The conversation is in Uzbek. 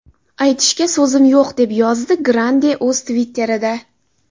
Aytishga so‘zim yo‘q”, deb yozdi Grande o‘z Twitter’ida.